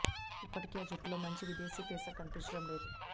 ఇప్పటికీ ఆ జట్టులో మంచి విదేశీ పేసర్ కనిపించడం లేదు